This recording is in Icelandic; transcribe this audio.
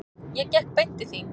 Ég gekk beint til þín.